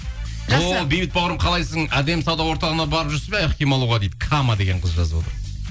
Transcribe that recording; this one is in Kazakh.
бейбіт бауырым қалайсың адем сауда орталығына барып жүрсіз бе аяқ киім алуға дейді кама деген қыз жазып отыр